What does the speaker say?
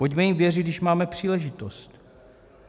Pojďme jim věřit, když máme příležitost.